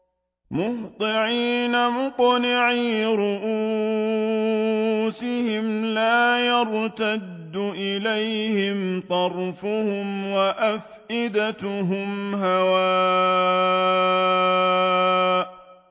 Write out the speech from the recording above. مُهْطِعِينَ مُقْنِعِي رُءُوسِهِمْ لَا يَرْتَدُّ إِلَيْهِمْ طَرْفُهُمْ ۖ وَأَفْئِدَتُهُمْ هَوَاءٌ